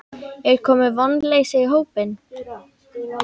Er komið vonleysi í hópinn?